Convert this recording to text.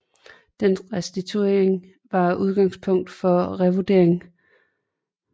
Dens restaurering var udgangspunkt for at revurdere både mønstre af ren klassicisme og lokale byggetraditioner